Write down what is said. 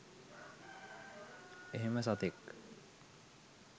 එහෙම සතෙක්